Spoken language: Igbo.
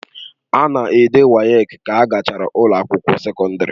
A na-ede WAEC ka a gachara ụlọ akwụkwọ sekọndrị.